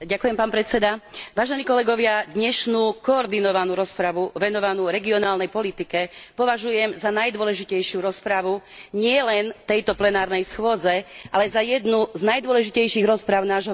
Vážení kolegovia, dnešnú koordinovanú rozpravu venovanú regionálnej politike považujem za najdôležitejšiu rozpravu nielen v tejto plenárnej schôdzi, ale aj za jednu z najdôležitejších rozpráv nášho volebného obdobia.